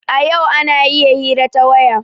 A yau ana iya hira ta waya.